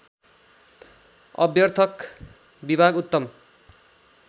अभ्यर्थक विभाग उत्तम